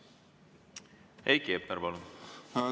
Heiki Hepner, palun!